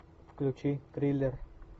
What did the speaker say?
включи триллер